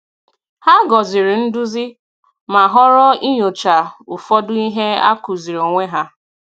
Hà gọzìrì nduzi, ma họrọ inyochaa ụfọdụ ihe a kụziri onwe ha.